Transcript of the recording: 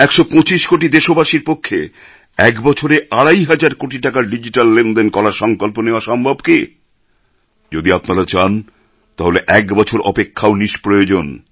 একশো পঁচিশ কোটি দেশবাসীর পক্ষে এক বছরে আড়াই হাজার কোটি টাকার ডিজিট্যাল লেনদেন করার সংকল্প নেওয়া সম্ভব কি যদি আপনারা চান তাহলে এক বছর অপেক্ষাও নিষ্প্রয়োজন